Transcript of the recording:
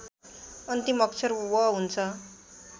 अन्तिम अक्षर व हुन्छ